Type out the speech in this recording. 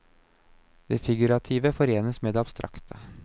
Det figurative forenes med det abstrakte.